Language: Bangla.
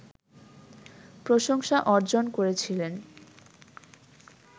প্রশংসা অর্জন করেছিলেন